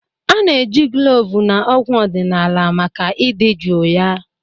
A-na eji kloovu na ọgwụ ọdịnala maka idị juu ya.